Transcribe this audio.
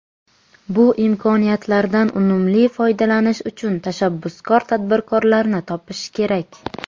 Bu imkoniyatlardan unumli foydalanish uchun tashabbuskor tadbirkorlarni topish kerak.